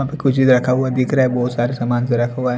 यहां पर कोई चीज रखा हुआ दिख रहा है बहुत सारे सामान पे रखा हुआ है।